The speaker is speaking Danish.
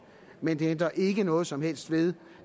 men det ændrer ikke noget som helst ved